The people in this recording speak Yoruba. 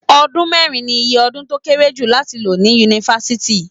Ọdún mẹ́rin ni iye ọdún tó kéré jù láti lò ní Yunifásítì.